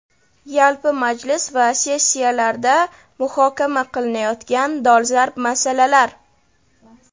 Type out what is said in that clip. Yalpi majlis va sessiyalarda muhokama qilinayotgan dolzarb masalalar:.